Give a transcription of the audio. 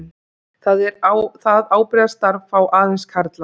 Það ábyrgðarstarf fá aðeins karlar.